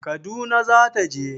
Kaduna za ta je